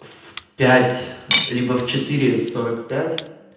в пять либо в четыре сорок пять